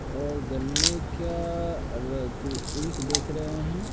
और गन्ने का र ईख देख रहे हैं।